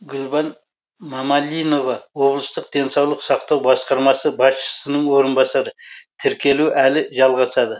гүлбан мамалинова облыстық денсаулық сақтау басқармасы басшысының орынбасары тіркелу әлі жалғасады